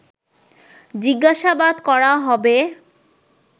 জিজ্ঞাসাবাদ করা হবে